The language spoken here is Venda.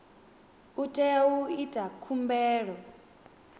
u tea u ita khumbelo